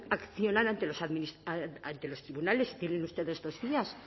accionar ante los tribunales tienen ustedes dos días